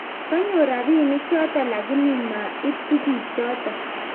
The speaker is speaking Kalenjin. konyor rabinik choto lakini ma ib tuguk choto